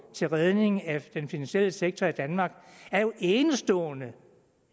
til redning af den finansielle sektor i danmark er jo enestående